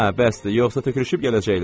Hə, bəsdir, yoxsa tökülüşüb gələcəklər.